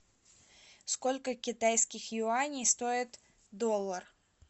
сколько китайских юаней стоит доллар